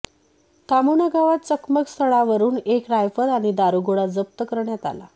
थामुना गावात चकमकस्थळावरून एक रायफल आणि दारूगोळा जप्त करण्यात आला